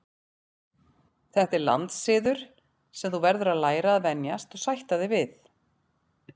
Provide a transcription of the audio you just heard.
Þetta er landssiður sem þú verður að læra að venjast og sætta þig við.